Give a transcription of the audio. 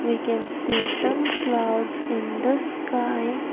We can see some clouds in the sky.